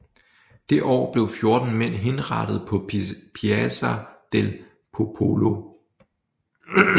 Det år blev fjorten mænd henrettet på Piazza del Popolo